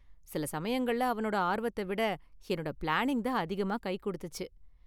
சில சமயங்கள்ல அவனோட ஆர்வத்தை விட என்னோட பிளானிங் தான் அதிகமா கை கொடுத்துச்சு.